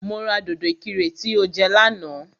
Mo ra dòdò ìkirè tí o jẹ lánàá